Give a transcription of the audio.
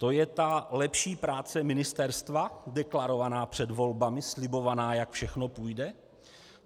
To je ta lepší práce ministerstva deklarovaná před volbami, slibovaná, jak všechno půjde?